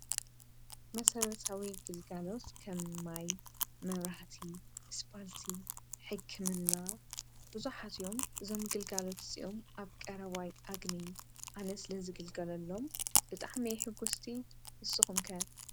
መሠረርዊ ግልጋሎስ ከምማይ፣ መብራህቲ ፣ስጳልቲ ፣ሕክምና ብዙኃት እዮም ።ዞምግልጋሎት እስኦም ኣብ ቀረዋይ ኣግኒ ኣነ ስለ ዝግልገሎሎም ብጣሕመሕጐስቲ ንስኹምከ?